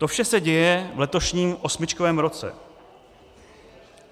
To vše se děje v letošním osmičkovém roce.